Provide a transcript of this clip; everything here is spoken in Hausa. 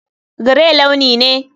Grey launi ne.